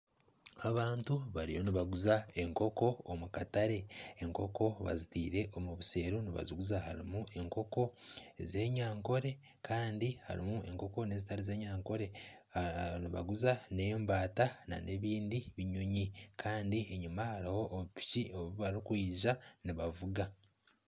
Abantu bariyo nibaguza enkoko omu katare, enkoko bazitiire omu buseero nibaziguza harimu enkoko ez'enyankore Kandi harimu nezitari z'enyankore . Nibaguza n'embaata n'ebindi binyonyi Kandi enyima hariho obupiki obubarikwija nibavuga.